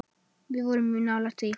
Við vorum mjög nálægt því.